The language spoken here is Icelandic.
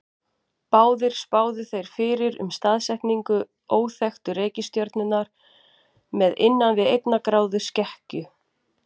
Báðir spáðu þeir fyrir um staðsetningu óþekktu reikistjörnunnar með innan við einnar gráðu skekkju.